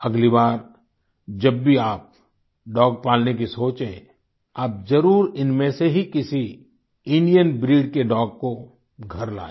अगली बार जब भी आप डॉग पालने की सोचें आप जरुर इनमें से ही किसी इंडियन ब्रीड के डॉग को घर लाएँ